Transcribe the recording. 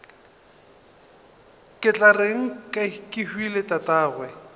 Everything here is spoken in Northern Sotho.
ke tla reng kehwile tatagwe